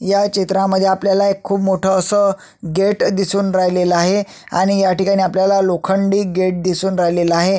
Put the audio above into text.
ह्या चित्रामध्ये आपल्याला एक खुप मोठ अस गेट दिसून राहिलेल आहे आणि ह्या ठिकाणी आपल्याला लोखंडी गेट दिसून राहिलेल आहे.